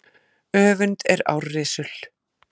Öfund er árrisul.